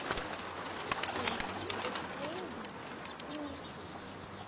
поищи эксплоудинг ти эн ти